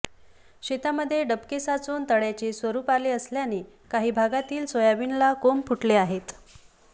शेतामध्ये डबके साचून तळ्याचे स्वरूप आले असल्याने काही भागातील सोयाबीनला कोंब फुटले आहेत